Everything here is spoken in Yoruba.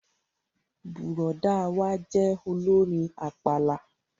Bùrọ̀dá wa jẹ́ olórin àpàlà